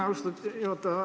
Austatud juhataja!